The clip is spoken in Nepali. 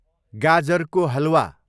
गाजरको हलवा